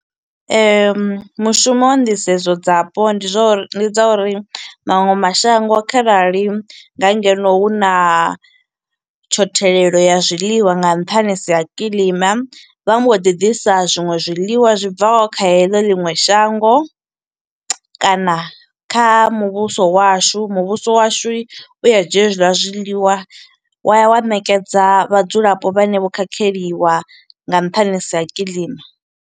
Mushumo wa nḓisedzo dza po, ndi zwa uri, ndi dza uri maṅwe mashango kharali nga ngeno huna tshothelelo ya zwiḽiwa nga nṱhanisi ha kiḽima, vha mbo ḓi ḓisa zwiṅwe zwiḽiwa zwi bvaho kha heḽo ḽiṅwe shango. kana kha muvhuso washu, muvhuso washu u a dzhia hezwiḽa zwiḽiwa, wa ya wa ṋekedza vhadzulapo vhane vho khakheliwa nga nṱhanisi ha kiḽima.